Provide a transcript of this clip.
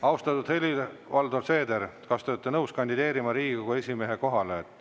Austatud Helir-Valdor Seeder, kas te olete nõus kandideerima Riigikogu esimehe kohale?